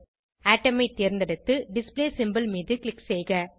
atom ஐ தேர்ந்தெடுத்து display symbol மீது க்ளிக் செய்க